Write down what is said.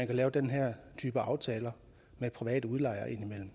kan lave den her type aftaler med private udlejere